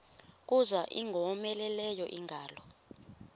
kuza ingowomeleleyo ingalo